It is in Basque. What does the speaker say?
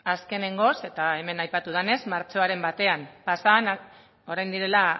azkenengoz eta hemen aipatu denez martxoaren batan orain direlako